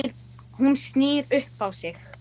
Eða viltu nú iðrast?